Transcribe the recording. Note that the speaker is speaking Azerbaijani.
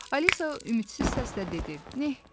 Alisa ümidsiz səslə dedi: "Nə?